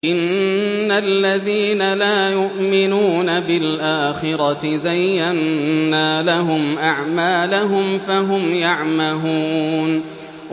إِنَّ الَّذِينَ لَا يُؤْمِنُونَ بِالْآخِرَةِ زَيَّنَّا لَهُمْ أَعْمَالَهُمْ فَهُمْ يَعْمَهُونَ